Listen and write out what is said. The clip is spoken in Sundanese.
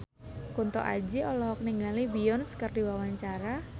Kunto Aji olohok ningali Beyonce keur diwawancara